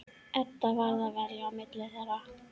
Edda varð að velja á milli þeirra.